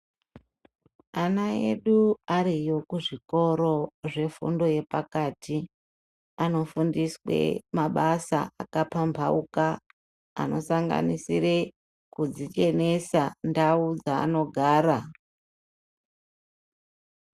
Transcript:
Ana edu ariyo kuzvikoro, zvefundo yepakati, anofundiswe mabasa akapambawuka anosanganisire kudzichenesa ndau dzanogara.